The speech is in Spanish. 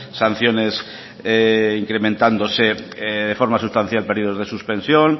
sanciones incrementándose de forma sustancial periodos de suspensión